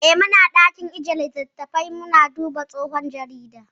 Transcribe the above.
Eh, muna ɗakin ajjiye littafai muna duba tsofaffin jaridu.